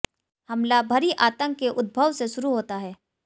हमला भरी आतंक के उद्भव से शुरू होता है